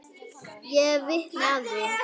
Ég er vitni að því.